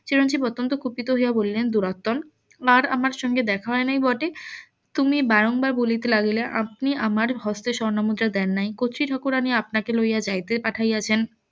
চিরঞ্জিব অত্যন্ত কুপিত হইয়া বলিলেন দুরাত্মন আর আমার সঙ্গে দেখা হয় নাই বটে তুমি বারংবার বলিতে লাগিলে আপনি আমার হস্তে স্বর্ণমুদ্রা দেন নাই কতৃ ঠাকুরানী আপনাকে লইয়া যাইতে পাঠাইয়াছেন